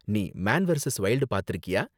நீ Man versus Wild பாத்திருக்கியா?